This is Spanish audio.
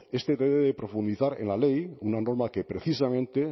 este debe profundizar en la ley una norma que precisamente